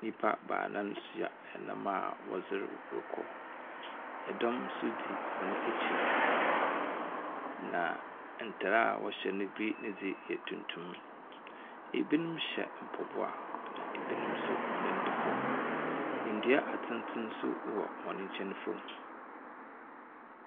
Nnipa baanan ahyia nam a wɔreserew rekɔ. Ɛdɔm nso di wɔn akyir. Na ntar wɔhye bi ne dze yɛ tuntum. Ebinom hyɛ mpɔboa na ebinom hɔn nan da fam. Ndua atsentsen wɔ hɔn nkyɛn fam.